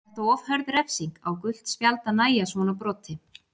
Er þetta of hörð refsing, á gult spjald að nægja svona broti?